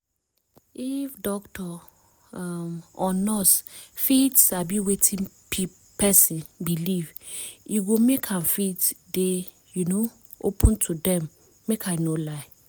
if doctor um or nurse fit sabi wetin person believe e go make am fit dey um open to dem make i no lie